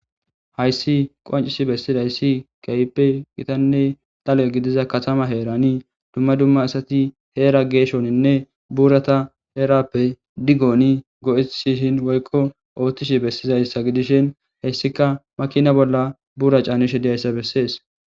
Hayssi qancis bessidayssi keype gitanne dalo' gidiza katama heerani dumma dumma asati heera geeshoninne buurata erappe diggooni go'isishin woykko ooththishi bessizayssa gidishin heyssika makina bolla buura caanishe diyayssa bessees.